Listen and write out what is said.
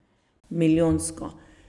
Milijonsko.